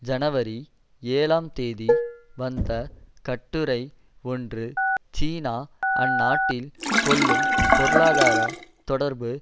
ஜனவரி ஏழாம் தேதி வந்த கட்டுரை ஒன்று சீனா அந்நாட்டில் கொள்ளும் பொருளாதார தொடர்பு